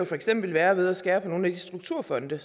for eksempel være ved at skære ned på nogle af de strukturfonde